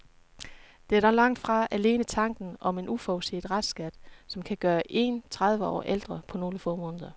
Det er dog langt fra alene tanken om en uforudset restskat, som kan gøre en tredive år ældre på nogle få måneder.